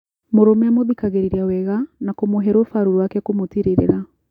Mũrũme amũthikagĩrĩria wega na kũmũhe rũfarũ rũake kũmũtirĩrĩra